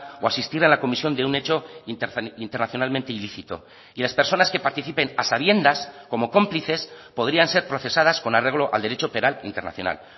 o asistir a la comisión de un hecho internacionalmente ilícito y las personas que participen a sabiendas como cómplices podrían ser procesadas con arreglo al derecho penal internacional